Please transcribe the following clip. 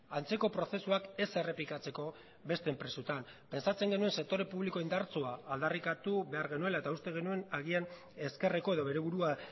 antzeko prozesuak ez errepikatzeko beste enpresetan pentsatzen genuen sektore publiko indartsua aldarrikatu behar genuela eta uste genuen agian ezkerreko edo bere burua